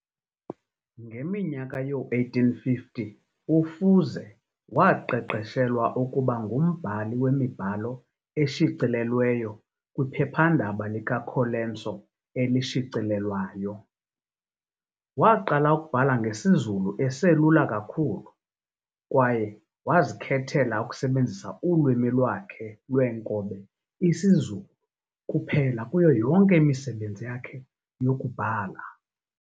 Ngeminyaka yoo-1850, uFuze waqeqeshelwa ukuba ngumbhali wemibhalo eshicilelweyo kwiphepha-ndaba likaColenso elishicilelwayo. Waqala ukubhala ngesiZulu eselula kakhulu, kwaye wazikhethela ukusebenzisa ulwimi lwakhe lweenkobe isiZulu kuphela kuyo yonke imisebenzi yakhe yokubhala.